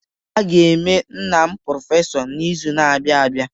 A ga-eme nna m prọfesọ n'izu na-abịa abịa.